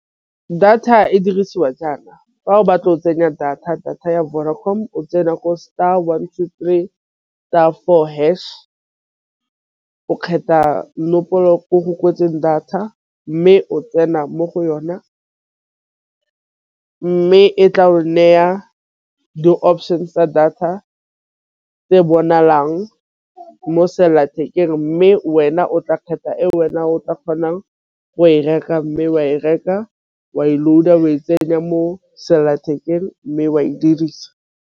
Data e dirisiwa jaana fa o batla o tsenya data, data ya Vodacom o tsena ko star one two three star four hash. O kgetha ko go kwetseng data mme o tsena mo go yona, mme e tla o neya di-options tsa data tse bonalang mo selathekeng mme wena o tla kgetha e wena o tla kgonang go e reka, mme wa e reka wa tsenya mo selelathekeng mme wa e dirisa.